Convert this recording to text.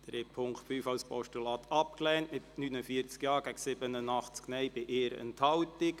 Sie haben den Punkt 5 als Postulat abgelehnt mit 49 Ja- gegen 87 Nein-Stimmen bei 1 Enthaltung.